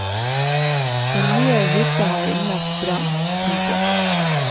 Den nye hytta har innlagt strøm. punktum